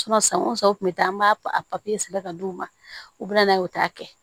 san o san u tun bɛ taa an b'a a sɛbɛn ka di u ma u bɛ na n'a ye u t'a kɛ